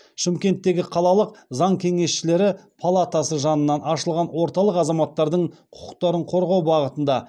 шымкенттегі қалалық заң кеңесшілері палатасы жанынан ашылған орталық азаматтардың құқықтарын қорғау бағытында